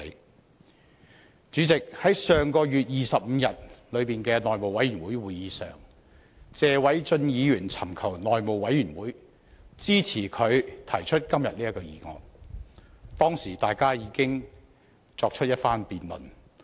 代理主席，在上月25日的內務委員會會議上，謝偉俊議員尋求內務委員會支持他提出今天這項議案，當時大家已有一番辯論。